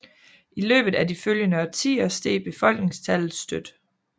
I løbet af de følgende årtier steg befolkningstallet støt